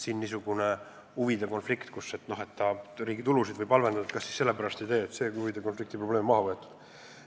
Siin on maha võetud see huvide konflikti probleem, et kas me siis sellepärast ei tee seda, et see võib riigi tulude olukorda halvendada.